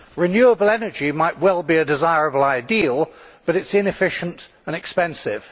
Renewable energy might well be a desirable ideal, but it is inefficient and expensive.